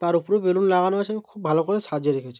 তার ওপরেও বেলুন লাগানো আছে এবং খুব ভালো করে সাজিয়ে রেখেছে।